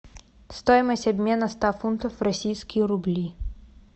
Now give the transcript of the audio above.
стоимость обмена ста фунтов в российские рубли